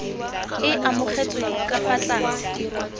e amogetsweng ka fa tlase